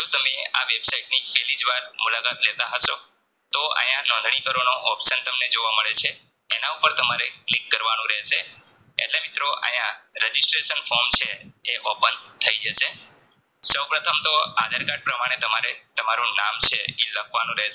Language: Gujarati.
નોંધણી કરવાનો option તમને જોવા મળે છે. એના ઉપર તમારે Click કરવાનું રહેશે એટલે મિત્રો અહીંયા Registration form છે એ Open થઈ જશે સૌપ્રથમતો આધાર card પ્રમાણે તમારે તમારું નામ છે ઈ લખવાનું રહેશે